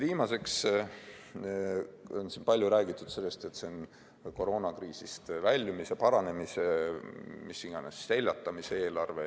Viimaseks, siin on palju räägitud, et see on koroonakriisist väljumise, paranemise, mis iganes, selle seljatamise eelarve.